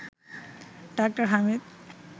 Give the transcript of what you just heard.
ডা. হামিদ